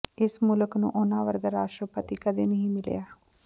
ਇਸ ਮੁਲਕ ਨੂੰ ਉਨ੍ਹਾਂ ਵਰਗਾ ਰਾਸ਼ਟਰਪਤੀ ਕਦੇ ਨਹੀਂ ਮਿਲਿਆ